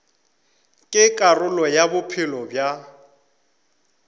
ke karolo ya bophelo bja